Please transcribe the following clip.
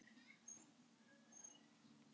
Sósíalismi í einni íbúð.